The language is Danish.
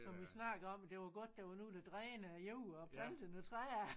Som vi snakkede om det var godt der var nogen der drænede æ jord og plantede nogle træer